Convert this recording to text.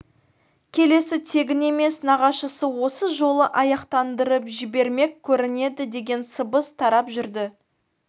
келісі тегін емес нағашысы осы жолы аяқтандырып жібермек көрінеді деген сыбыс тарап жүрді